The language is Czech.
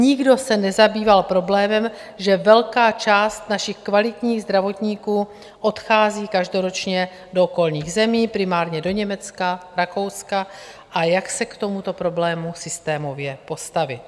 Nikdo se nezabýval problémem, že velká část našich kvalitních zdravotníků odchází každoročně do okolních zemí, primárně do Německa, Rakouska, a jak se k tomuto problému systémově postavit.